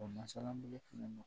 O masalabolo fana